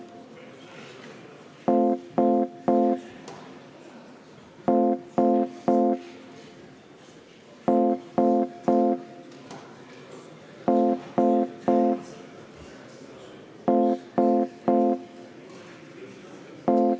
Eelnõu 578 on esimesel lugemisel tagasi lükatud.